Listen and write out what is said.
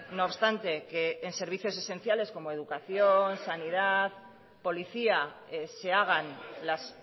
no obstante que en servicios esenciales como educación sanidad policía se hagan las